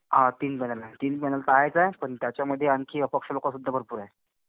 हां. तीन पॅनल आहे. तीन पॅनल तर आहेच आहे. पण त्याच्यामध्ये आणखी अपक्ष लोकं सुद्धा भरपूर आहे.